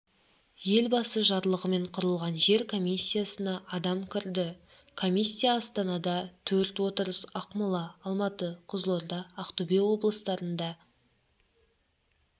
елбасы жарлығымен құрылған жер комиссиясына адам кірді комиссия астанада төрт отырыс ақмола алматы қызылорда ақтөбе облыстарында